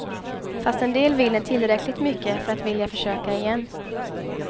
Fast en del vinner tillräckligt mycket för att vilja försöka igen.